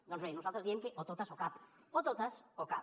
doncs bé nosaltres diem que o totes o cap o totes o cap